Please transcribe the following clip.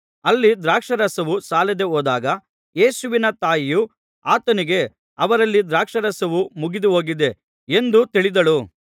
ಅಲ್ಲಿ ದ್ರಾಕ್ಷಾರಸವು ಸಾಲದೆ ಹೋದಾಗ ಯೇಸುವಿನ ತಾಯಿಯು ಆತನಿಗೆ ಅವರಲ್ಲಿ ದ್ರಾಕ್ಷಾರಸವು ಮುಗಿದುಹೋಗಿದೆ ಎಂದು ತಿಳಿದಳು